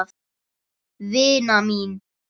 Vina mín!